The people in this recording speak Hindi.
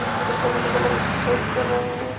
यहाँ पर सब अलग अलग एक्सरसाइज कर रहें है।